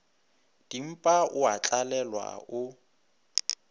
dimpa o a tlalelwa o